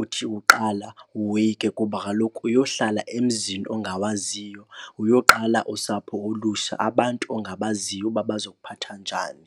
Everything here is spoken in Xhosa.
uthi uqala woyike kuba kaloku uyohlala emzini ongawaziyo, uyoqala usapho olutsha, abantu ongabaziyo uba bazokuphatha njani.